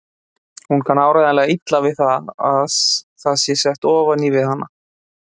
Hún kann áreiðanlega illa við að það sé sett ofan í við hana.